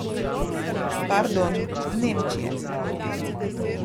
Pardon, Nemčije.